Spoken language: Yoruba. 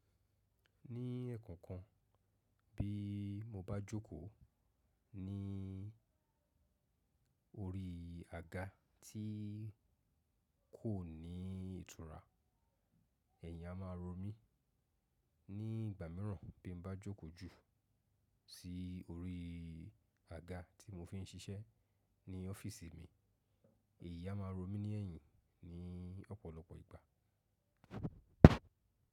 Ní ẹ̀kọ̀kan bí mo bá jókòó ní orí àga tí kò ní ìtura, ẹ̀yìn a máa rọ mí. Ní ìgbà mìíràn bí mo bá jókòó jù sí orí àga tí mo fi ń siṣẹ́ ní ọ́fíísì mi, èyí a máa rọ mí ní ẹ̀yìn ní ọ̀pọ̀lọpọ̀ ìgbà.